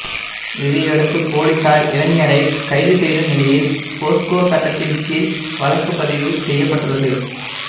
இதையடுத்து பொலிஸார் இளைஞரை கைது செய்த நிலையில் போஸ்கோ சட்டத்தின் கீழ் வழக்குப்பதிவு செய்யப்பட்டுள்ளது